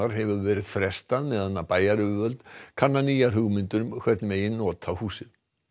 hefur verið frestað meðan bæjaryfirvöld kanna nýjar hugmyndir um hvernig megi nota húsið